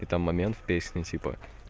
и там момент песни типа